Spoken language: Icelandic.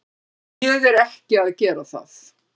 Ég er ekki að gera það.